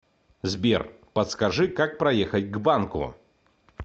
сбер подскажи как проехать к банку